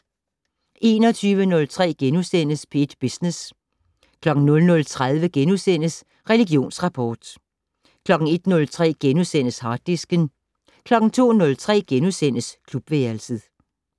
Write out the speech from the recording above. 21:03: P1 Business * 00:30: Religionsrapport * 01:03: Harddisken * 02:03: Klubværelset *